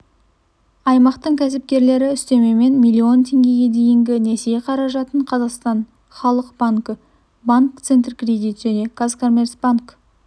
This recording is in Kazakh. аймақтың кәсіпкерлері үстемемен миллион теңгеге дейінгі несие қаражатын қазақстан халық банкі банк центркредит және казкоммерцбанк